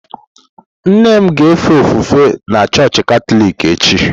Nne m ga-efe ofufe na chọọchị Katọlik echi.